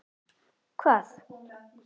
segir Marta með sömu þungu hægð.